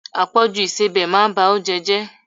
Àpọjù ìsebẹ̀ máa ba oúnjẹ jẹ.